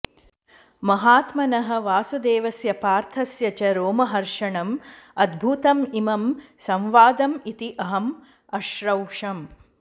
महात्मनः वासुदेवस्य पार्थस्य च रोमहर्षणम् अद्भुतम् इमं संवादम् इति अहम् अश्रौषम्